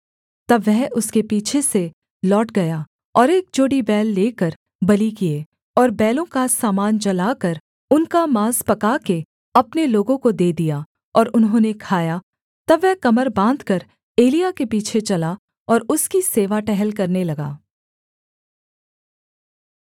तब वह उसके पीछे से लौट गया और एक जोड़ी बैल लेकर बलि किए और बैलों का सामान जलाकर उनका माँस पका के अपने लोगों को दे दिया और उन्होंने खाया तब वह कमर बाँधकर एलिय्याह के पीछे चला और उसकी सेवा टहल करने लगा